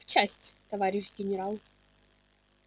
в часть товарищ генерал